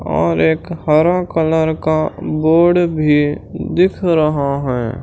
और एक हरा कलर का बोर्ड भी दिख रहा है।